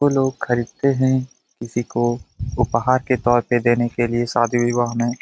वो लोग खरीदते हैं किसी को उपहार के तौर पे देने के लिए शादी विवाह में।